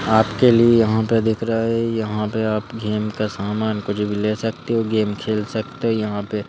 आपके लिए यहाँ पे दिख रहा है यहाँ पे आप गेम का सामान कुछ भी ले सकते हो गेम खेल सकते हो यहाँ पे--